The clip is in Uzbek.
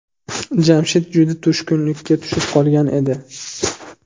Jamshid juda tushkunlikka tushib qolgan edi.